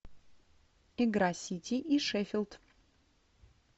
игра сити и шеффилд